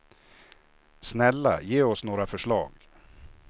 Snälla, ge oss några förslag.